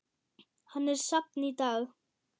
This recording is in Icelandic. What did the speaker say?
Hann er safn í dag.